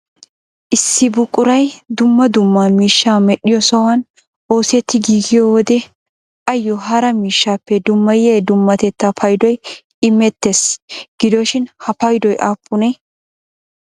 Issi buquray dumma dumma miishsha medhdhiyo sohuwan oosetti giigiyo wode ayyo hara miishshappe dummayyiya dummatetta payddoy immeettees gidoshin ha paydoy aappune?